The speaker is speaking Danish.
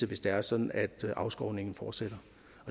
hvis det er sådan at afskovningen fortsætter